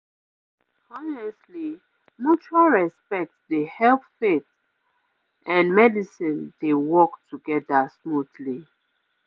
honestly mutual respect dey help faith pause and medicine dey work together smoothly